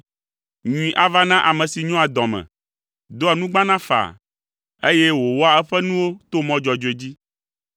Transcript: Nyui ava na ame si nyoa dɔ me, doa nugbana faa, eye wòwɔa eƒe nuwo to mɔ dzɔdzɔe dzi.